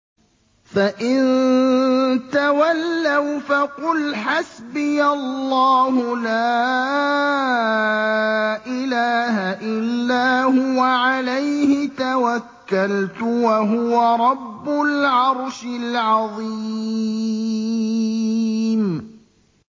فَإِن تَوَلَّوْا فَقُلْ حَسْبِيَ اللَّهُ لَا إِلَٰهَ إِلَّا هُوَ ۖ عَلَيْهِ تَوَكَّلْتُ ۖ وَهُوَ رَبُّ الْعَرْشِ الْعَظِيمِ